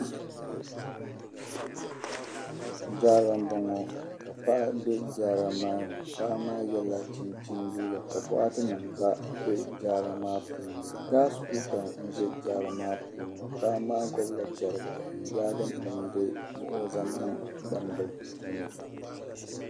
Jaara n bɔŋɔ ka p aɣa be jaara maa ni paɣa maa yela chinchini liiga ka bɔɣa ti nim gba be jaara maa puuni gas kula n ʒɛ jaara maa puuni. paɣa maa gbubi la chariga. n yaagi nimdi ni ɔ zaŋ niŋ gbaŋm bilini